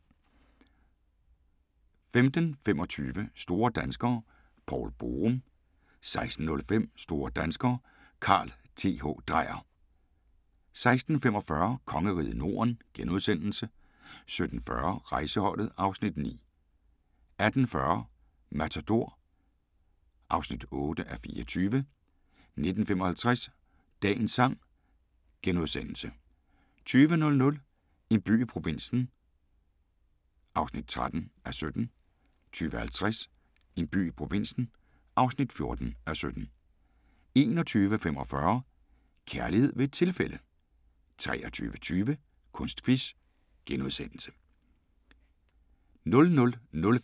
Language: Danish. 15:25: Store danskere - Poul Borum 16:05: Store danskere - Carl Th. Dreyer 16:45: Kongeriget Norden * 17:40: Rejseholdet (Afs. 9) 18:40: Matador (8:24) 19:55: Dagens sang * 20:00: En by i provinsen (13:17) 20:50: En by i provinsen (14:17) 21:45: Kærlighed ved et tilfælde 23:20: Kunstquiz *